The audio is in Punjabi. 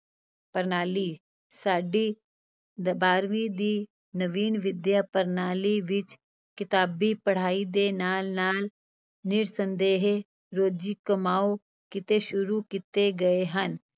ਪ੍ਰਣਾਲੀ, ਸਾਡੀ ਬਾਰਵੀਂ ਦੀ ਨਵੀਨ ਵਿੱਦਿਆ-ਪ੍ਰਣਾਲੀ ਵਿਚ ਕਿਤਾਬੀ ਪੜ੍ਹਾਈ ਦੇ ਨਾਲ-ਨਾਲ, ਨਿਰਸੰਦੇਹ, ਰੋਜ਼ੀ-ਕਮਾਉ ਕਿੱਤੇ ਸ਼ੁਰੂ ਕੀਤੇ ਗਏ ਹਨ।